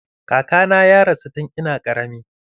Kakana ya rasu tun ina ƙarami.